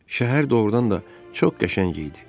Şəhər doğrudan da çox qəşəng idi.